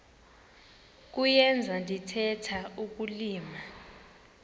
kuyenza ndithetha ukulilima